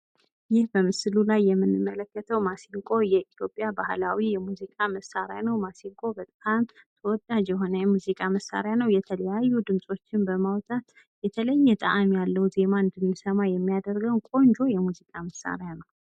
ይህ በምስሉ ላይ የምንመለከተው ማሲንቆ የኢትዮጵያ ባህላዊ የሙዚቃ መሳሪያ ነው። ማሲንቆ በጣም ተወዳጅ የሆነ የሙዚቃ መሳሪያ ነው። የተለያዩ ድምጾችን በማውጣት የተለየ ጣዕም ያለው ዜማ እንድንሰማ የሚያደርገው ቆንጆ የሙዚቃ መሳሪያ ነው።